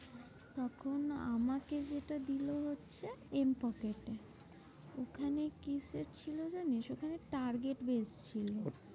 তখন আমাকে যেটা দিলো হচ্ছে এম পকেটে। ওখানে কিসের ছিল জানিস্? ওখানে target base ছিল।